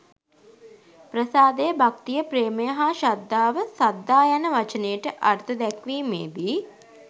ප්‍රසාදය, භක්තිය ප්‍රේමය හා ශ්‍රද්ධාව සද්ධා යන වචනයට අර්ථ දැක්වීමේදී